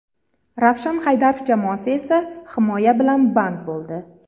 Ravshan Haydarov jamoasi esa himoya bilan band bo‘ldi.